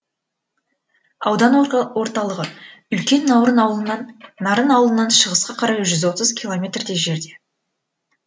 аудан орталығы үлкен нарын ауылынан шығысқа қарай жүз отыз километрдей жерде